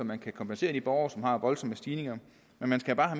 man kan kompensere de borgere som har voldsomme stigninger men man skal bare